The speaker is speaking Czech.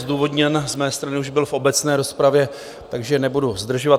Zdůvodněn z mé strany už byl v obecné rozpravě, takže nebudu zdržovat.